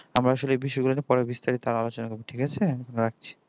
আমারা আসলে বিষয়গুলো নিয়ে পরে বিস্তারিত আলোচনা করব ঠিক আছে রাখছি